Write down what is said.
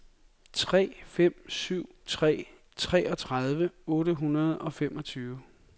tre fem syv tre treogtredive otte hundrede og femogtyve